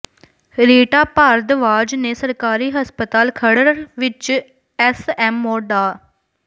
ਰੀਟਾ ਭਾਰਦਵਾਜ ਨੇ ਸਰਕਾਰੀ ਹਸਪਤਾਲ ਖਰੜ ਵਿੱਚ ਐਸਐਮਓ ਡਾ